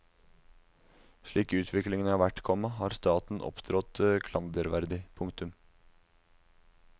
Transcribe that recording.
Slik utviklingen har vært, komma har staten opptrådt klanderverdig. punktum